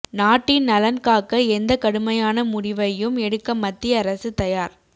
நாட்டின் நலன் காக்க எந்த கடுமையான முடிவையும் எடுக்க மத்திய அரசு தயார்